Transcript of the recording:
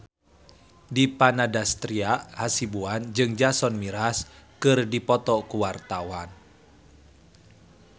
Dipa Nandastyra Hasibuan jeung Jason Mraz keur dipoto ku wartawan